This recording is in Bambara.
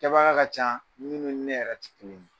Kɛbaga ka ca minnu ni ne yɛrɛ ti kelen ye.